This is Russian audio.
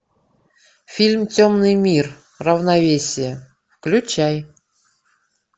фильм темный мир равновесие включай